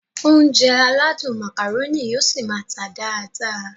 Ounjẹ aládùn Macaroni yóò ṣi máá tà dáadáa